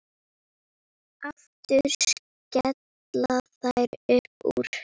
Aftur skella þær upp úr.